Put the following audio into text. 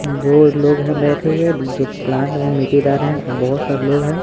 दो लोग हैं बैठे हुए जो प्लांट में मिट्टी डाल रहे हैं और बहुत सारे लोग हैं।